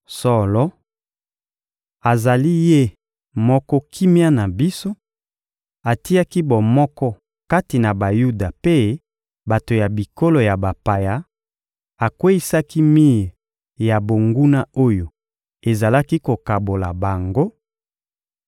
Solo, azali Ye moko kimia na biso: atiaki bomoko kati na Bayuda mpe bato ya bikolo ya bapaya, akweyisaki mir ya bonguna oyo ezalaki kokabola bango,